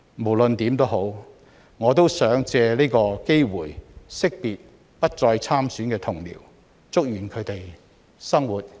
無論如何，我想藉此機會惜別不再參選的同僚，祝願他們的生活繼續精彩。